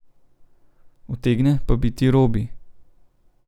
Utegne pa biti Robi.